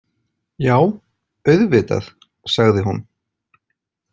Já, auðvitað, sagði hún.